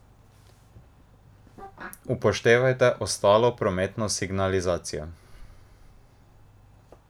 Upoštevajte ostalo prometno signalizacijo!